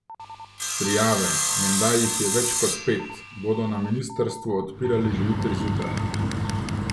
Prijave, menda jih je več kot pet, bodo na ministrstvu odpirali že jutri zjutraj.